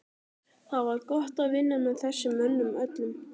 Það var gott að vinna með þessum mönnum öllum.